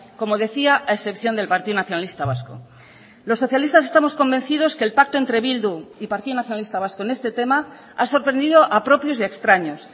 como decía a excepción del partido nacionalista vasco los socialistas estamos convencidos que el pacto entre bildu y partido nacionalista vasco en este tema ha sorprendido a propios y extraños